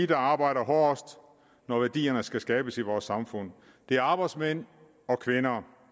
der arbejder hårdest når værdierne skal skabes i vores samfund det er arbejdsmænd og kvinder